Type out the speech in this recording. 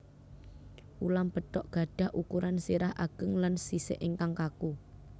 Ulam betok gadhah ukuran sirah ageng lan sisik ingkang kaku